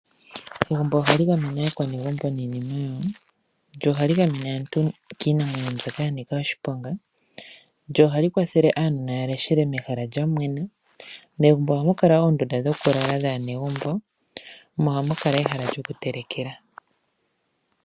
Egumbo ohali gamene aanegumbo niinima yawo, lyo ohali gamene aantu kiinamwenyo mbyoka ya nika oshiponga, na ohali kwathele aanona ya leshele mehala lya mwena. Megumbo ohamu kala oondunda dhokulala dhaanegumbo, mo ohamu kala ehala lyokutelekela.